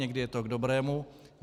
Někdy je to k dobrému.